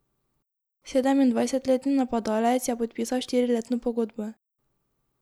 Sedemindvajsetletni napadalec je podpisal štiriletno pogodbo.